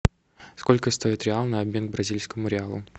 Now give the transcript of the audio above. сколько стоит реал на обмен бразильскому реалу